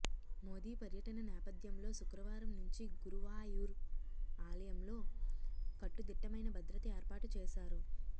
మోదీ పర్యటన నేపథ్యంలో శుక్రవారం నుంచి గురువాయూర్ ఆలయంలో కట్టుదిట్టమైన భద్రత ఏర్పాటుచేశారు